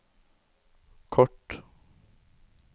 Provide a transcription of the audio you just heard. kort